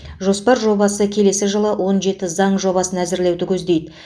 жоспар жобасы келесі жылы он жеті заң жобасын әзірлеуді көздейді